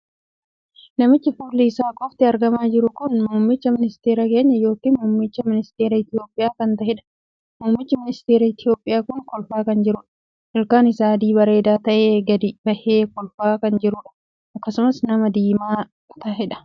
Namichi fuulli isaa qofti argamaa jiru kun muummicha ministeera keenya ykn muummichi ministeeraa Itoophiyaa kan taheedha. muummichi ministeera Itoophiyaa kun kolfaa kan jiruudha. ilkaan isaa adii bareedaa tahee gadi bahee kolfaa kan jiruudha. akkasumas nama diimaa kan taheedha.